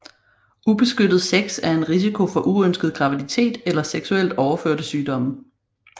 Ubeskyttet sex er en risiko for uønsket graviditet eller seksuelt overførte sygdomme